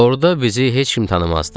Orada bizi heç kim tanımazdı.